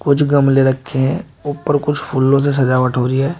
कुछ गमले रखे हैं ऊपर कुछ फूलों से सजावट हो रही है।